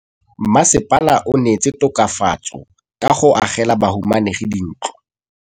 Mmasepala o neetse tokafatsô ka go agela bahumanegi dintlo.